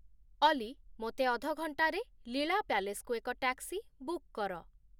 ଅଲି ମୋତେ ଅଧ ଘଣ୍ଟାରେ ଲୀଳା ପ୍ୟାଲେସକୁ ଏକ ଟ୍ୟାକ୍ସି ବୁକ୍ କର